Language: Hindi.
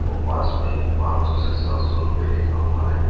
और पास में ही पांच सौ से सात सौ रुपए लिखा हुआ है।